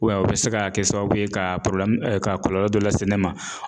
o be se ka kɛ sababu ye ka ka kɔlɔlɔ dɔ lase ne ma.